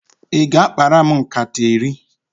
Ị ga-akpara m nkata iri?